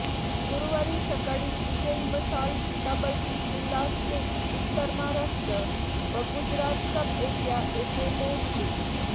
गुरुवारी सकाळी विजयी मशाल सीताबर्डी किल्लास्थित उत्तर महाराष्ट्र व गुजरात सबएरिया येथे पाेहोचली